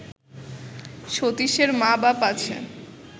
সতীশের মা বাপ আছে